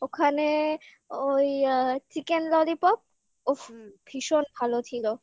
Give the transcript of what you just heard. ওখানে ওই chicken lollipop উফ ভীষণ ভালো ছিল